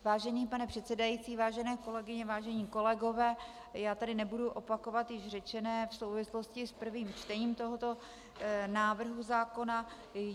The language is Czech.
Vážený pane předsedající, vážené kolegyně, vážení kolegové, já tady nebudu opakovat již řečené v souvislosti s prvním čtení tohoto návrhu zákona.